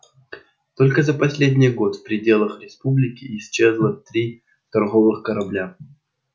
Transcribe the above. только за последний год в пределах республики исчезло три торговых корабля